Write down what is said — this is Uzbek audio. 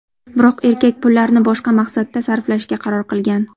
Biroq erkak pullarni boshqa maqsadda sarflashga qaror qilgan.